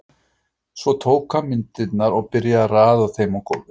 Svo tók hann myndirnar og byrjaði að raða þeim á gólfið.